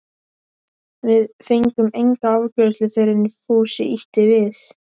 Við fengum enga afgreiðslu fyrr en Fúsi ýtti við